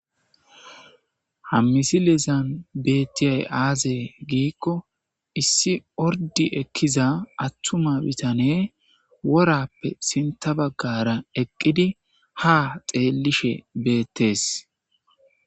ha misilizan bettiyay aaze giikko issi ordi ekkiza attuma bitane worappe sinta baggara eqqidi ha xeellishe beettees